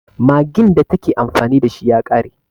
Maggin da ta ke amfani da shi ya ƙare.